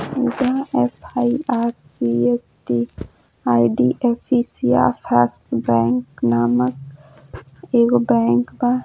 इहाँ ऍफ़आईआरसीइसटी IDFC first bank नामक एगो बैंक बा।